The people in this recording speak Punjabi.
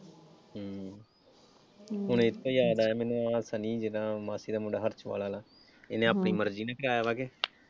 ਹਮ ਹੁਣ ਇੱਥੇ ਈ ਯਾਦ ਆਇਆ ਮੈਨੂੰ ਆਹ ਸਨੀ ਜਿੱਦਾਂ ਮਾਸੀ ਦਾ ਹਰਸੂਆਲ ਆਲਾ। ਇਹਨੇ ਆਪਣੀ ਮਰਜੀ ਨਾਲ ਕਰਾਇਆ ਵਾ ਕਿ,